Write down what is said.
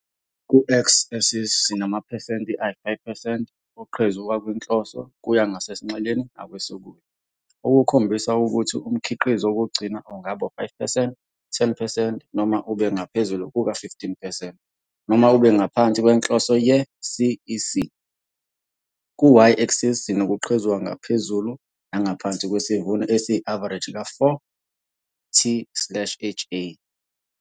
Ku-x-axis, sinamaphesenti ayi-5 percent oqhezuka kwinhloso kuya ngasesinxeleni nakwesokudla, okukhombisa ukuthi umkhiqizo wokugcina ungaba u-5 percent, 10 percent noma ube ngaphezulu kuka-15 percent noma ube ngaphansi kwenhloso ye-CEC. Ku-y-axis, sinokuqhezuka ngaphezulu nangaphansi kwesivuno esiyi-avareji ka-4 t slash ha.